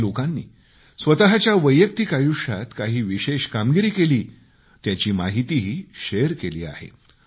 काही लोकांनी स्वतःच्या वैयक्तिक आयुष्यात काही विशेष कामगिरी केली त्याची माहितीही शेअर केली आहे